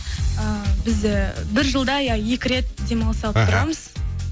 ы біз бір жылда иә екі рет демалыс алып тұрамыз аха